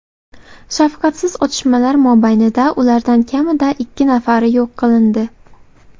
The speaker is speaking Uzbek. Shafqatsiz otishmalar mobaynida ulardan kamida ikki nafari yo‘q qilindi.